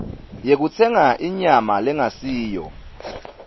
yekutsenga inyama lengasiyo